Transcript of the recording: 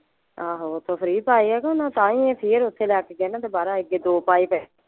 ਆਹੋ ਓਥੋਂ ਫ਼੍ਰੀ ਪਾਏ ਆ ਕੇ ਓਹਨਾਂ ਤਾਂ ਹੀ ਇਹ ਫੇਰ ਓਥੇ ਲੈ ਕੇ ਗਏ ਨਾ ਦੋਬਾਰਾ ਅੱਗੇ ਦੋ ਪਾਏ ਤਾਂ ਹੈ।